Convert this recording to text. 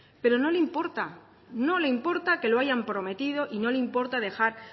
pero no le importa no le importa que lo hayan prometido y no le importa dejar